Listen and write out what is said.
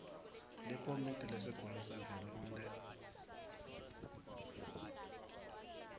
likomidi lesigungu savelonkhe